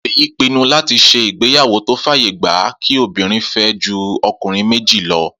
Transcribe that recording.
Fèyí pinnu láti ṣe ìgbéyàwó tó fàyè gba kí obìnrin fẹ́ ju ọkùnrin méjì lọ